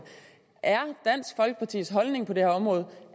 er dansk folkepartis holdning på det her område